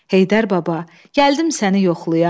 Heydər baba, gəldim səni yoxlayam.